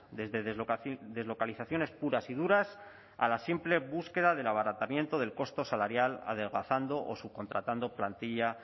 desde deslocalizaciones puras y duras a la simple búsqueda del abaratamiento del costo salarial adelgazando o subcontratando plantilla